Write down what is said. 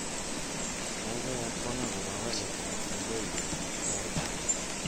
Kaikai akwong akobo walet ab soloiwetab taishek